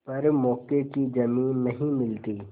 पर मौके की जमीन नहीं मिलती